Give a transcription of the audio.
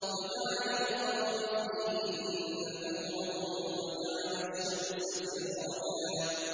وَجَعَلَ الْقَمَرَ فِيهِنَّ نُورًا وَجَعَلَ الشَّمْسَ سِرَاجًا